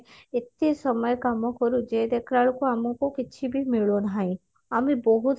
ଏତେ ସମୟ କାମ କରୁଛେ ଦେଖିଲାବେଳକୁ ଆମକୁ କିଛି ବି ମିଳୁ ନାହିଁ ଆମେ ବହୁତ